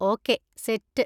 Okay, set.